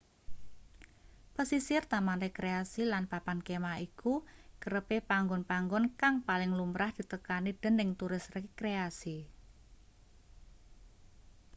pesisir taman rekreasi lan papan kemah iku kerepe panggon-panggon kang paling lumrah ditekani dening turis rekreasi